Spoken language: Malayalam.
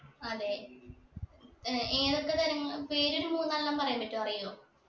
അതെ ഏർ ഏതൊക്കെ തരങ്ങ പേര് ഒരു മൂന്നാലെണ്ണം പറയാൻ പറ്റോ അറിയോ